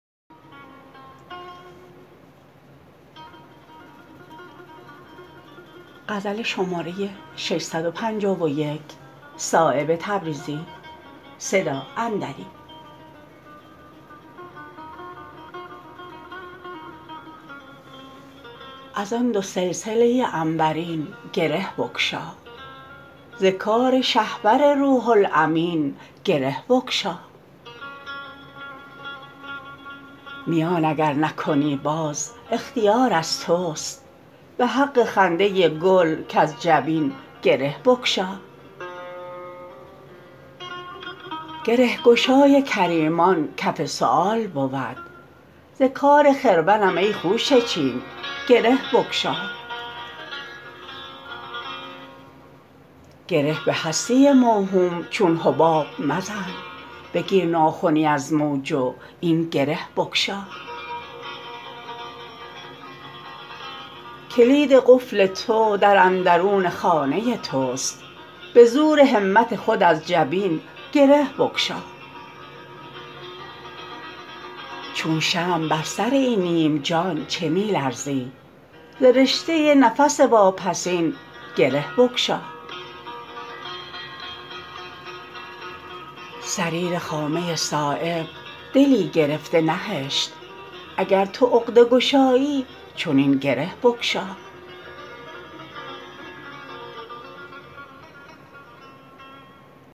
ازان دو سلسله عنبرین گره بگشا ز کار شهپر روح الامین گره بگشا میان اگر نکنی باز اختیار از توست به حق خنده گل کز جبین گره بگشا گرهگشای کریمان کف سؤال بود ز کار خرمنم ای خوشه چین گره بگشا گره به هستی موهوم چون حباب مزن بگیر ناخنی از موج و این گره بگشا کلید قفل تو در اندرون خانه توست به زور همت خود از جبین گره بگشا چو شمع بر سر این نیم جان چه می لرزی ز رشته نفس واپسین گره بگشا صریر خامه صایب دلی گرفته نهشت اگر تو عقده گشایی چنین گره بگشا